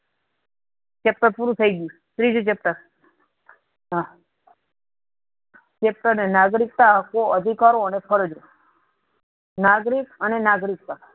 chapter પૂરુ થયી ગયું ત્રીજુ chapter હા chapter નાગરીક્તા આપો અધિકારો અને ફરજો નાગરિક અને નાગરીક્તા